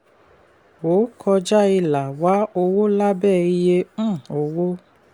wò kọjá ìlà wá owó lábé iye um owó.